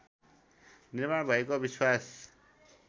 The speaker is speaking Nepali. निर्माण भएको विश्वास